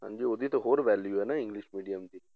ਹਾਂਜੀ ਉਹਦੀ ਤਾਂ ਹੋਰ value ਹੈੈ ਨਾ english medium ਦੀ